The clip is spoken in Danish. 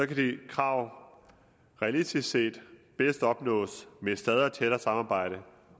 de krav realistisk set bedst opnås med et stadig tættere samarbejde